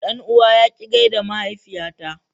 Dan uwa ya ki gaida mahaifiyata.